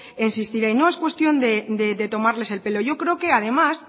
insistiré y no es cuestión de tomarles el pelo yo creo que además